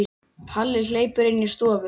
Palli hleypur inn í stofu.